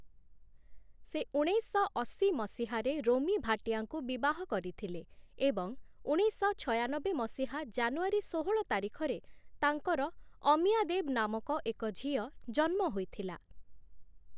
ସେ ଉଣେଇଶଶହ ଅଶୀ ମସିହାରେ ରୋମୀ ଭାଟିଆଙ୍କୁ ବିବାହ କରିଥିଲେ ଏବଂ ଉଣେଇଶଶହ ଛୟାନବେ ମସିହା ଜାନୁଆରୀ ଷୋହଳ ତାରିଖରେ ତାଙ୍କର ଅମିୟା ଦେବ ନାମକ ଏକ ଝିଅ ଜନ୍ମ ହୋଇଥିଲା ।